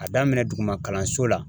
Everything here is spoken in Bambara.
A daminɛ duguma kalanso la